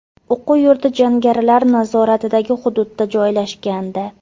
O‘quv yurti jangarilar nazoratidagi hududda joylashgandi.